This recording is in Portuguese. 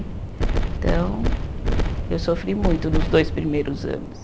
Então, eu sofri muito nos dois primeiros anos.